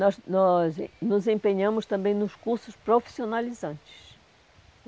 Nós nós nos empenhamos também nos cursos profissionalizantes.